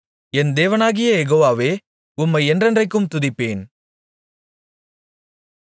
என் தேவனாகிய யெகோவாவே உம்மை என்றென்றைக்கும் துதிப்பேன்